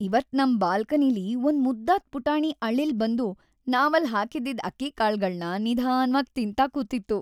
ಇವತ್‌ ನಮ್ ಬಾಲ್ಕನಿಲಿ‌ ಒಂದ್ ಮುದ್ದಾದ್ ಪುಟಾಣಿ ಅಳಿಲ್ ಬಂದು ನಾವಲ್ಲ್ ಹಾಕಿ‌ದ್ದಿದ್‌ ಅಕ್ಕಿ ಕಾಳ್ಗಳ್ನ‌ ನಿಧಾನ್ವಾಗ್‌ ತಿಂತಾ ಕೂತಿತ್ತು.